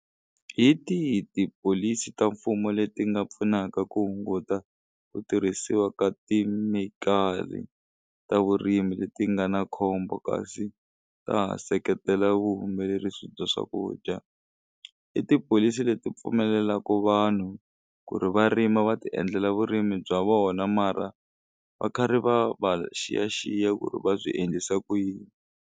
Hi tihi tipholisi ta mfumo leti nga pfunaka ku hunguta ku tirhisiwa ka ti ta vurimi leti nga na khombo kasi ta ha seketela vuhumelerisi bya swakudya i tipholisi leti pfumelelaku vanhu ku ri va rima va ti endlela vurimi bya vona mara va karhi va va xiyaxiya ku ri va swi endlisa ku yini.